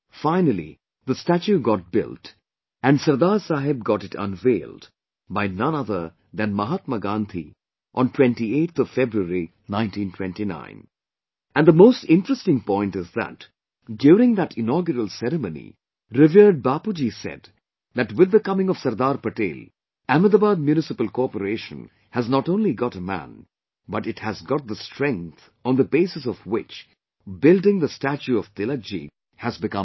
Finally, the statue got built and Sardar Saheb got it unveiled by none other than Mahatma Gandhi on 28th February, 1929; and the most interesting point is that during that inaugural ceremony revered Bapuji said that with the coming of Sardar Patel, Ahmedabad Municipal Corporation has not only got a man but it has got the strength on the basis of which, building the statue of Tilakji has become possible